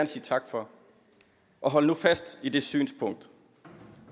sige tak for og hold nu fast i det synspunkt